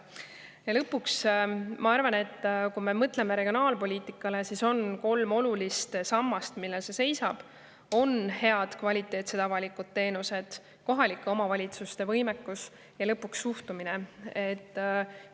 Ja lõpuks, et kui me mõtleme regionaalpoliitikale, siis on kolm olulist sammast, millel see seisab: on head, kvaliteetsed avalikud teenused, kohalike omavalitsuste võimekus ja lõpuks suhtumine.